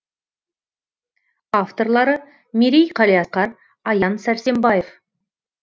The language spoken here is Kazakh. авторлары мерей қалиасқар аян сарсембаев